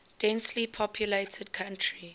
densely populated country